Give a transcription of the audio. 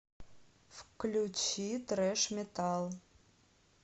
включи трэш метал